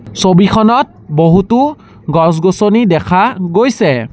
ছবিখনত বহুতো গছ গছনি দেখা গৈছে।